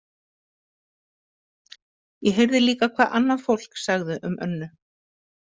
Ég heyrði líka hvað annað fólk sagði um Önnu.